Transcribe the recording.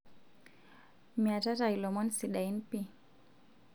miatata ilomon sidain pi